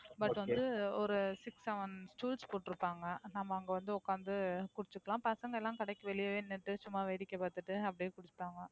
But வந்து ஒரு Six seven stools போட்டு இருப்பாங்க நாம அங்க வந்து உக்கார்ந்து குடிச்சுக்கலாம். பசங்கலாம் கடைக்கு வெளியவே நின்னுட்டு சும்மா வேடிக்கை பார்த்துட்டு அப்படியே குடிப்பாங்க.